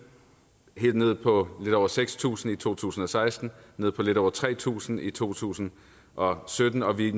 helt nede på lidt over seks tusind i to tusind og seksten nede på lidt over tre tusind i to tusind og sytten og vi